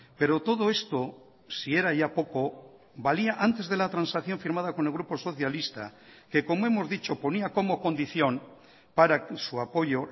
pero todo esto si era ya poco valía antes de la transacción firmada con el grupo socialista que como hemos dicho ponía como condición para su apoyo